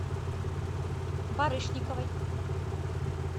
барышниковой